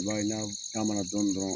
I b'a n'aw taamana dɔni dɔrɔn